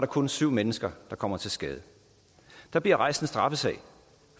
kun syv mennesker der kommer til skade og der bliver rejst en straffesag